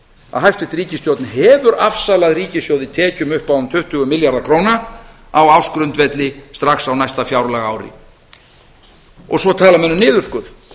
að hæstvirt ríkisstjórn hefur afsalað ríkissjóði tekjum upp á um tuttugu milljarða króna á ársgrundvelli strax á næsta fjárlagaári svo tala menn um niðurskurð